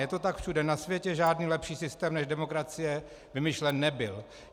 Je to tak všude na světě, žádný lepší systém než demokracie vymyšlen nebyl.